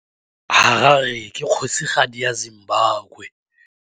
Harare ke kgosigadi ya Zimbabwe.